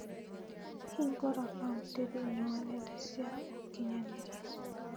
Hiingura kaunti thĩinĩ wa nenda cia ũkĩnyaniria